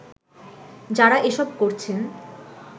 যারা এসব করছেন